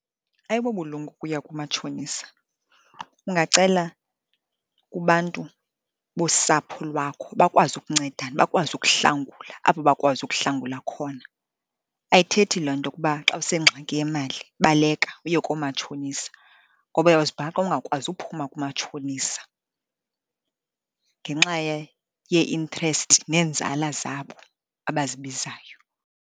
Ayibobulumko ukuya kumatshonisa. Ungacela kubantu bosapho lwakho bakwazi ukuncedana, bakwazi ukuhlangula apho bakwazi ukuhlangula khona. Ayithethi loo nto ukuba xa usengxaki yemali baleka uye koomatshonisa, ngoba uyawuzibhaqa ungakwazi uphuma kumatshonisa ngenxa yee-interest neenzala zabo abazibizayo.